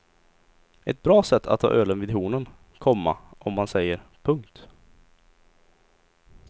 Ett bra sätt att ta ölen vid hornen, komma om man säger. punkt